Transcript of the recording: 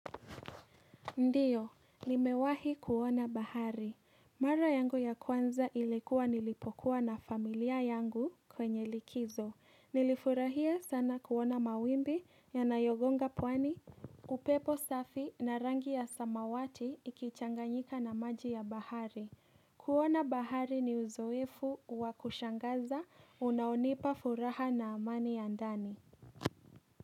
Ndiyo, nimewahi kuona bahari. Mara yangu ya kwanza ilikuwa nilipokuwa na familia yangu kwenye likizo. Nilifurahia sana kuona mawimbi ya nayogonga pwani, upepo safi na rangi ya samawati ikichanganyika na maji ya bahari. Kuona bahari ni uzoefu wa kushangaza unaonipa furaha na amani ya ndani.